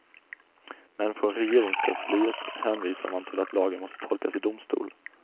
Men från regeringskansliet hänvisar man till att lagen måste tolkas i domstol.